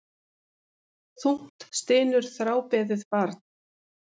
Þungt stynur þrábeðið barn.